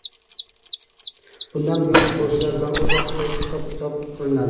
Bundan buyon futbolchilar bilan o‘z vaqtida hisob-kitob qilinadi.